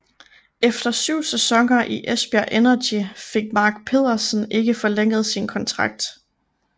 Efter syv sæsoner i Esbjerg Energy fik Mark Pederson ikke forlænget sin kontrakt